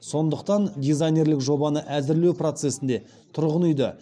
сондықтан дизайнерлік жобаны әзірлеу процесінде тұрғын үйді